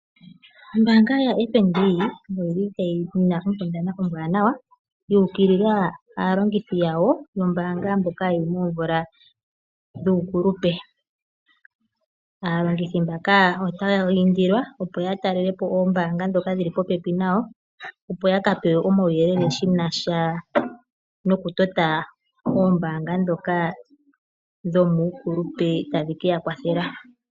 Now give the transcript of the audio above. Ombaanga yaFNB oyi na onkundana ombwaanawa yu ukilila aalongithi mboka ye li momvula dhuukulupe. Aalongithi mbaka otaya indilwa, opo ya talele po oombanga ndhoka dhi li popepi nayo, opo ya ka pewe omauyelele ge na sha nokutota oombaanga ndhoka dhomuukulupe tadhi ke ya kwathela.